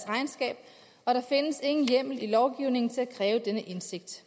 regnskab og der findes ingen hjemmel i lovgivningen til at kræve denne indsigt